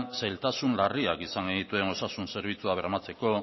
zailtasun larriak izan genituen osasun zerbitzuak bermatzeko